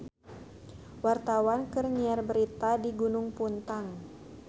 Wartawan keur nyiar berita di Gunung Puntang